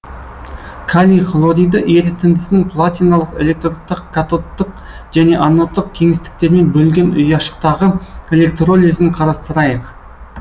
калий хлориді ерітіндісінің платиналық электродта катодтық және анодтық кеңістіктермен бөлінген ұяшықтағы электролизін қарастырайық